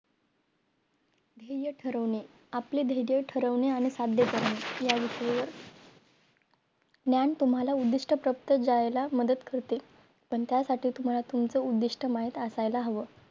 ध्येय ठरविणे आपले धैर्य ठरविणे आणि साध्य करणे या विषयी ज्ञान तुम्हाला उधिष्ठ प्रवुत जायला मदत करते पण त्यासाठी तुम्हला तुमचं उधिष्ठ माहित असायला हवं